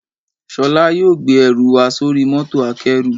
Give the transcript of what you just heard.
Sholá yóò gbé ẹrù wa sóri mọ́tò akẹ́rù